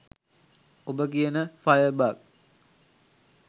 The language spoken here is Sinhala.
ඔබ කියන ෆයර් බග්